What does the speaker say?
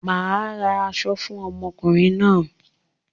Màá ra aṣọ fún ọmọkùnrin náà.